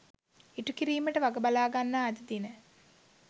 ඉටු කිරීමට වග බලාගන්නා අද දින